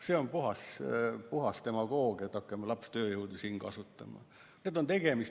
See on puhas demagoogia, et hakkame lapstööjõudu siin kasutama.